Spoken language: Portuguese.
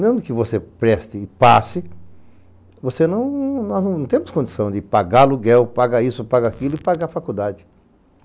Mesmo que você preste e passe, nós não temos condição de pagar aluguel, pagar isso, pagar aquilo e pagar a faculdade.